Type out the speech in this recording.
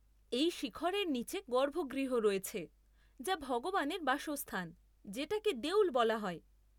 এই শিখরের নীচে গর্ভগৃহ রয়েছে, যা ভগবানের বাসস্থান, যেটাকে দেউল বলা হয়।